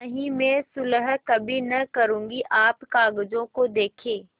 नहीं मैं सुलह कभी न करुँगी आप कागजों को देखें